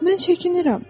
Mən çəkinirəm.